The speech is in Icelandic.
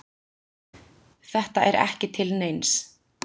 Þetta er ekki til neins.